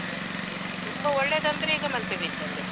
ತುಂಬಾ ಒಳ್ಳೇದಂದ್ರೆ ಈಗ ಮಲ್ಪೆ beach ಅಲ್ಲೇ.